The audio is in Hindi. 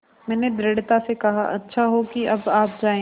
मैंने दृढ़ता से कहा अच्छा हो कि अब आप जाएँ